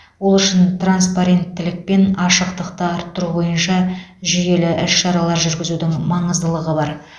ол үшін транспаренттілік пен ашықтықты арттыру бойынша жүйелі ісшаралар жүргізудің маңыздылығы бар